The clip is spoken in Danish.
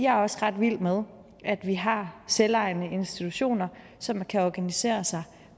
er også ret vild med at vi har selvejende institutioner som kan organisere sig